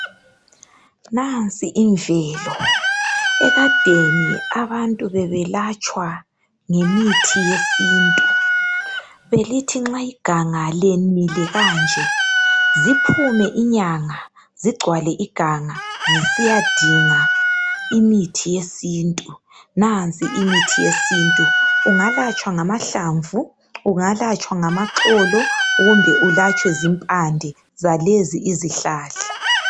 Nansi imvelo ekadeni abantu bebelatshwa ngemithi yesintu, belithi nxa iganga lemile kanje ziphume inyanga zigcwale iganga zisiya dinga imithi yesintu. Nansi imithi yesintu ungalatshwa ngamahlamvu, ungalatshwa ngamaxolo kumbe ungalatshwe zimpande zalezo izihlahla.